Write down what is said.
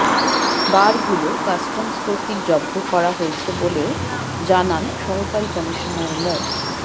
বারগুলো customs কর্তৃক জব্দ করা হয়েছে বলেও জানান সহকারী কমিশনার মো